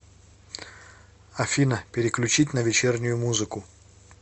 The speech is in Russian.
афина переключить на вечернюю музыку